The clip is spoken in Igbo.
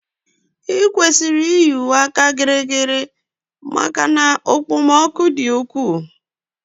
I kwesịrị iyi uwe áka gịrịgịrị maka na okpomọkụ di ukwu